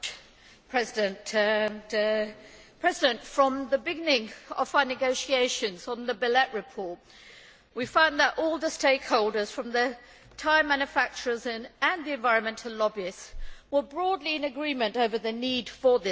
Madam President, from the beginning of our negotiations on the Belet report we found that all the stakeholders from the tyre manufacturers to the environmental lobbyists were broadly in agreement on the need for this legislation.